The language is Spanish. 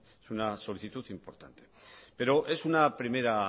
es una solicitud importante pero es una primera